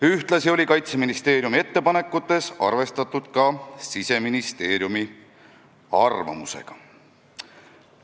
Ühtlasi oli Kaitseministeeriumi ettepanekutes arvestatud ka Siseministeeriumi arvamusega.